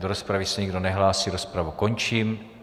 Do rozpravy se nikdo nehlásí, rozpravu končím.